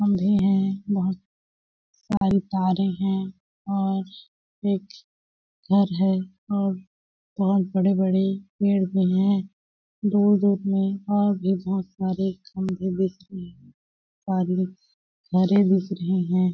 है बहुत सारी तारे हैं और एक घर है और बहुत बड़े-बड़े पेड़ भी हैं दूर-दूर में और भी बहुत सारे खधे सारी हरे दिख रहे हैं।